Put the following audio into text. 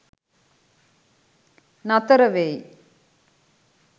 නතර වෙයි.